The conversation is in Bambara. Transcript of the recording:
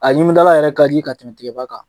A ɲimidala yɛrɛ kadi ka tɛmɛ tigɛba kan.